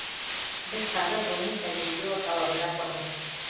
біз қазір ғылыми тәжірибе орталығында тұрмыз